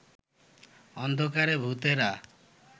অন্ধকারে ভূতেরা